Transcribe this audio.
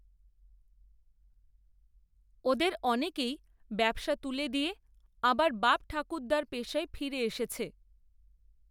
ওদের, অনেকেই ব্যবসা তুলে দিয়ে, আবার, বাপঠাকুর্দ্দার পেশায় ফিরে এসেছে